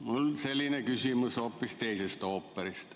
Mul on selline küsimus, hoopis teisest ooperist.